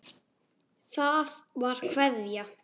Það var Kveðja.